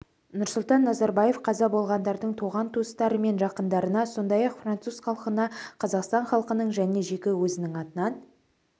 нұрсұлтан назарбаев қаза болғандардың туған-туыстары мен жақындарына сондай-ақ француз халқына қазақстан халқының және жеке өзінің атынан